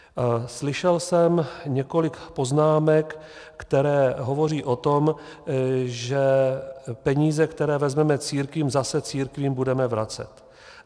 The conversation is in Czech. Slyšel jsem několik poznámek, které hovoří o tom, že peníze, které vezmeme církvím, zase církvím budeme vracet.